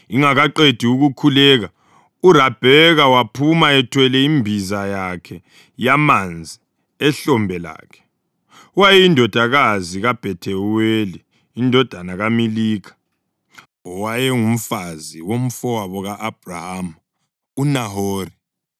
Ingakaqedi ukukhuleka, uRabheka waphuma ethwele imbiza yakhe yamanzi ehlombe lakhe. Wayeyindodakazi kaBhethuweli indodana kaMilikha, owayengumfazi womfowabo ka-Abhrahama uNahori.